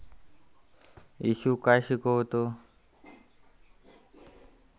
येशू काय शिकवतो